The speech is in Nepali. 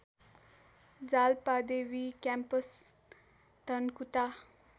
जालपादेवी क्याम्पस धनकुटा